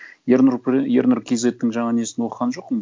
ернұр кейзеттің жаңағы несін оқыған жоқпын